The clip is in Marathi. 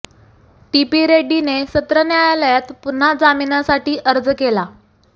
टी पी रेड्डीने सत्र न्यायालयात पुन्हा जामीनासाठी अर्ज केला